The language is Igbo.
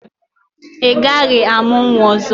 Ị gaghị amụ nwa ọzọ!